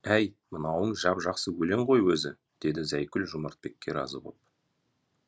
әй мынауың жап жақсы өлең ғой өзі деді зайкүл жомартбекке разы боп